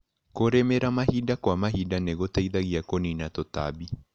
Kũrĩmĩra mahinda kwa mahinda nĩgũteithagia kũnina tutambi.